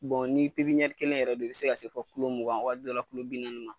ni kelen yɛrɛ de be yen, i bi se ka se fɔ mugan waati dɔw la bi nanni ma.